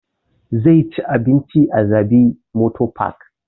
Zai ci abinci a jabi motor park